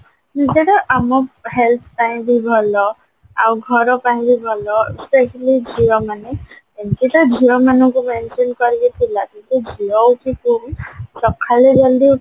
ସେଟା ଆମ health ପାଇଁ ବି ଭଲ ଆଉ ଘର ପାଇଁ ବି ଭଲ specially ଝିଅ ମାନେ ଏମତି ତ ଝିଅ ମାନଙ୍କୁ mention କରିକି ଥିଲା ଯେହେତୁ ଝିଅ ହଉ କି ପୁଅ ହଉ ସକାଳେ ଜଲଦି